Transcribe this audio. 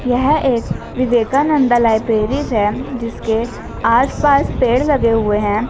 यह एक विवेकानंदा लाइब्रेरी है जिसके आस पास पेड़ लगे हुए हैं।